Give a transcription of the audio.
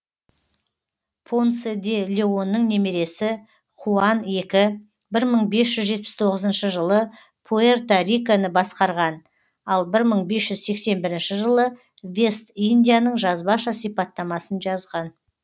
понсе де леонның немересі хуан екі бір мың бес жүз жетпіс тоғызыншы жылы пуэрто риконы басқарған ал бір мың бес жүз сексен бірінші жылы вест индияның жазбаша сипаттамасын жазған